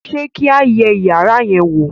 ṣe kí a yé iyàrá yen wọ